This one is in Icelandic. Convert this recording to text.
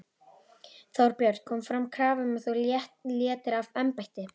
Þorbjörn: Kom fram krafa um að þú létir af embætti?